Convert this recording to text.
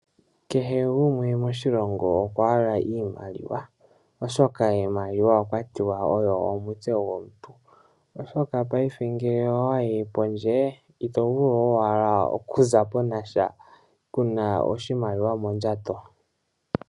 Kehe gumwe moshilongo okwahala iimaliwa, oshoka iimaliwa okwatiwa oyo omutse gwomuntu , ngele owayi pondje itovulu owala okuzapo nasha kuna oshimaliwa mondjato.